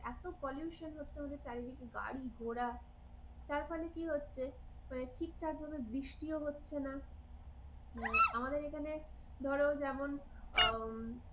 এত pollution হচ্ছে আমাদের চারিদিকে গাড়ি ঘোড়া, তার ফলে কি হচ্ছে? ঠিকঠাক ভাবে বৃষ্টিও হচ্ছে না। আমাদের এখানে ধরো যেমন,